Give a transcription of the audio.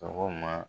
Sɔgɔma